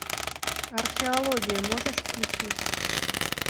археология можешь включить